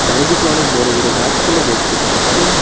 চারিদিকে অনেক বড় বড় গাছপালা দেখতে পারছি।